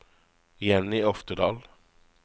Jenny Oftedal